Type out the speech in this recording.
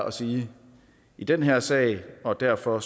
at sige i den her sag og derfor